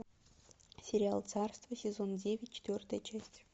сериал царство сезон девять четвертая часть